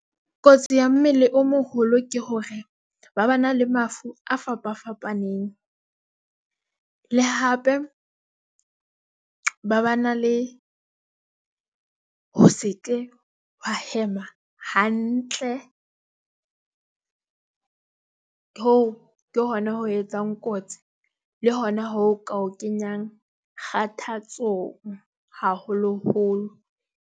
Kotsi ya mmele o moholo ke hore ba ba na le mafu a fapa fapaneng le hape ba ba na le ho se ke ba hema hantle. Hoo ke hona ho etsang kotsi le hona ho ka o kenyang kgathatsong haholoholo.